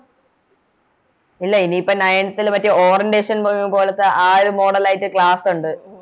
ഇല്ല ഇനി ഈപ്പോൾ Ninth ൽ മറ്റേ Orientation പോലെത്തെ ആ ഒരു Model ആയിറ്റ് Class ഒണ്ട്